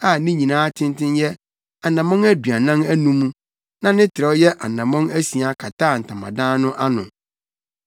a ne nyinaa tenten yɛ anammɔn aduanan anum na ne trɛw yɛ anammɔn asia kataa Ntamadan no so.